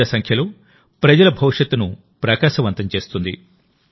పెద్ద సంఖ్యలో ప్రజల భవిష్యత్తును ప్రకాశవంతం చేస్తుంది